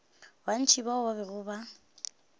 bantši bao ba bego ba